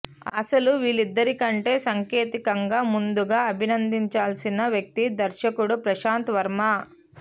అసలు వీళ్లందరికంటే సాంకేతికంగా ముందుగా అభినందించాల్సిన వ్యక్తి దర్శకుడు ప్రశాంత్ వర్మ